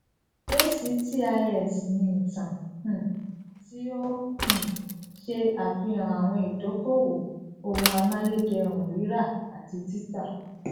actis ní ìtàn um tí ó um ṣe àfihàn àwọn ìdókòwò ohun amáyédẹrùn rira àti títà